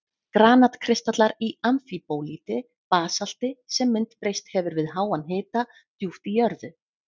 Granat-kristallar í amfíbólíti, basalti sem myndbreyst hefur við háan hita djúpt í jörðu.